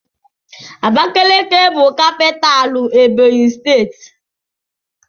Abakiliki bụ capitalú Ebọnyi steeti.